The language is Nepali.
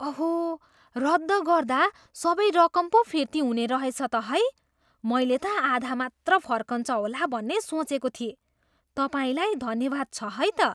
अहो! रद्द गर्दा सबै रकम पो फिर्ती हुने रहेछ त है? मैले त आधा मात्र फर्किन्छ होला भन्ने सोचेको थिएँ। तपाईँलाई धन्यवाद छ है त!